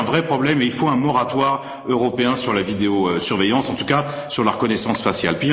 C'est un vrai problème et il faut un moratoire européen sur la vidéosurveillance ou, en tout cas, sur la reconnaissance faciale.